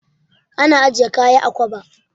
Ana ajiye kaya a kwaba.